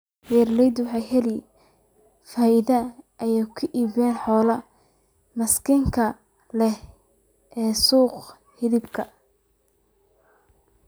Beeralaydu waxay ka helaan faa�iido ay ku iibiyaan xoolaha miisaanka leh ee suuqa hilibka.